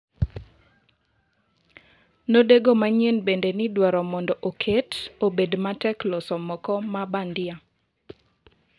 Nodego manyien bende nidwaroni mondo oket obed matek loso moko ma bandia.